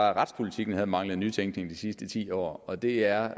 at retspolitikken havde manglet nytænkning de sidste ti år og det er